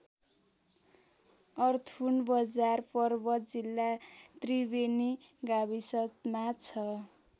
अर्थुन बजार पर्वत जिल्ला त्रिबेनि गाविसमा छ।